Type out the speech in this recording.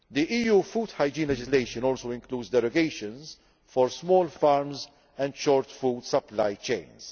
EU food hygiene legislation also includes derogations for small farms and short food supply chains.